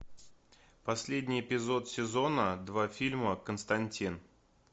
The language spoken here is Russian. последний эпизод сезона два фильма константин